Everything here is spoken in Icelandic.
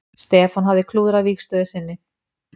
Stefán hafði klúðrað vígstöðu sinni.